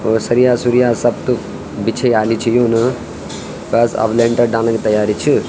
और सरिया-सुरिया सब त बिछेयाली छ यून बस अब लेंटर डालने की तैयारी छ।